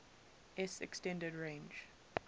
s extended range